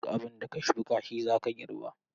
Duk abinda ka shuka shi zaka girba.